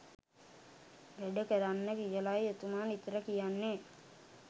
වැඩ කරන්න කියලයි එතුමා නිතර කියන්නේ.